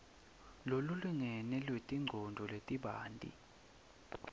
lolulingene lwetimongcondvo letibanti